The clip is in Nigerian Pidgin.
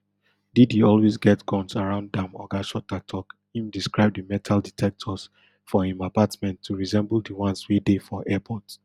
diddy always get guns around am oga shuter tok im describe di metal detectors for im apartment to resemble di ones wey dey for airport